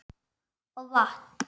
Og vatn.